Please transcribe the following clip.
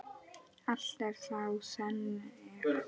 Allt er þá þrennt er.